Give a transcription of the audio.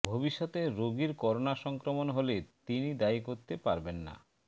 ভবিষ্যতে রোগীর করোনা সংক্রমণ হলে তিনি দায়ী করতে পারবেন না